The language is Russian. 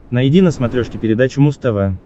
найди на смотрешке передачу муз тв